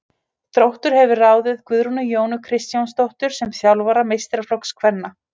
Þróttur hefur ráðið Guðrúnu Jónu Kristjánsdóttur sem þjálfara meistaraflokks kvenna.